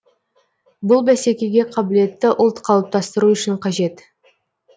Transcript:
бұл бәсекеге қабілетті ұлт қалыптастыру үшін қажет